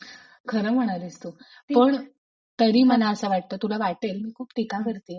खरं म्हणालीस तू. तरी मला असं वाटत आता तुला वाटेल गुप्ती का भरतेय